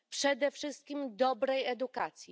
Przede wszystkim dobrej edukacji.